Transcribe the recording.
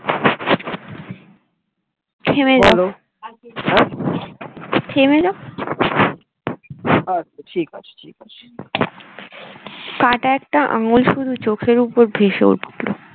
থেমে যাও থেমে যাও আচ্ছা ঠিক আছে ঠিক আছে কাটা একটা আঙ্গুল শুধু চোখের উপর ভেসে উঠল